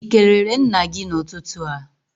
Ị kelere nna gị n'ụtụtụ a?